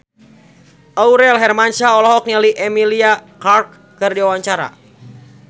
Aurel Hermansyah olohok ningali Emilia Clarke keur diwawancara